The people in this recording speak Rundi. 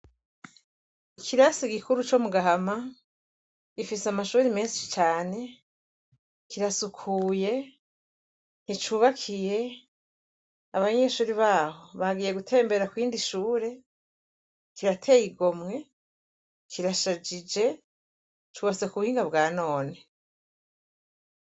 Ikisari gikuru co Mugahama rifise amashure menshi cane, kirasukuye nticubakiye abanyeshure baho bagiye gutembera kurindi shure, kirateye igomwe kirashajije cubatse kubuhinga bwanone.